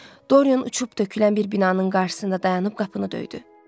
Doryan uçub tökülən bir binanın qarşısında dayanıb qapını döydü.